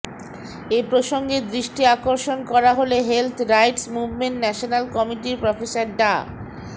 এ প্রসঙ্গে দৃষ্টি আকর্ষণ করা হলে হেলথ রাইটস মুভমেন্ট ন্যাশনাল কমিটির প্রফেসর ডা